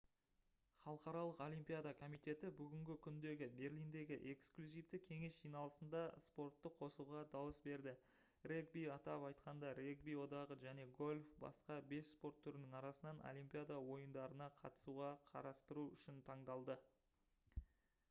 халықаралық олимпиада комитеті бүгінгі күндегі берлиндегі эксклюзивті кеңес жиналысында спортты қосуға дауыс берді регби атап айтқанда регби одағы және гольф басқа бес спорт түрінің арасынан олимпиада ойындарына қатысуға қарастыру үшін таңдалды